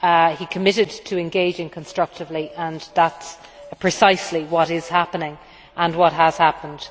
He committed to engaging constructively and that is precisely what is happening and what has happened.